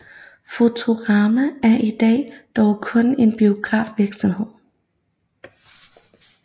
Fotorama er i dag dog kun en biografvirksomhed